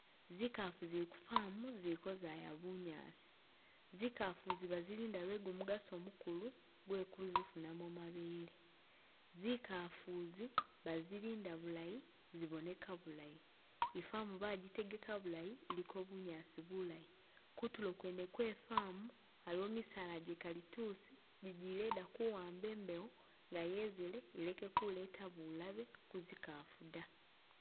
Zikafu zili ku farm zili kozaya bunyaasi, zikafu izi bazilinda lwe gumukaso mugulu gwe kuzifunamo mabele, zikafu zi bazilinda bulayi ziboneka bulayi, i'farm bajitegeka bulayi iliko bunyaasi bulayi, kutulo kwene kwe farm aliwo misaala gye kalitusi jijiyeda kuwamba embewo nga yezele ileke kuleta bulabe ku zikafu dda